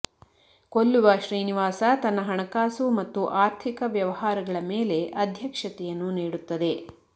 ಕೊಲ್ಲುವ ಶ್ರೀನಿವಾಸ ತನ್ನ ಹಣಕಾಸು ಮತ್ತು ಆರ್ಥಿಕ ವ್ಯವಹಾರಗಳ ಮೇಲೆ ಅಧ್ಯಕ್ಷತೆಯನ್ನು ನೀಡುತ್ತದೆ